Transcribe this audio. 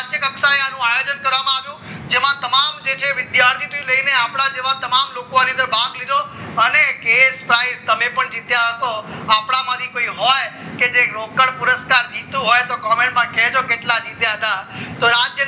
જેમાં તમામ જે છે વિદ્યાર્થીઓ લઈને આપણા જેવા તમામ લોકોએ આની અંદર ભાગ લીધો અને case prize તમે પણ જીત્યા હશો આપણામાંથી કોઈ હોય તે રોકડ પુરસ્કાર જીત્યું હોય તો comment કેજો કે કેટલા જીત્યા હતા તો